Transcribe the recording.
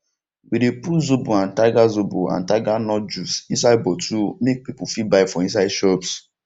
we de put zobo and tiger zobo and tiger nut juice inside bottle make people fit buy for inside shops